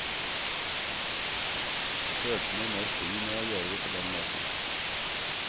Følte meg mer fri med å gjøre det på den måten.